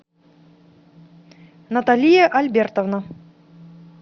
наталия альбертовна